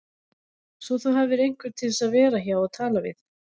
Svo þú hafir einhvern til að vera hjá og tala við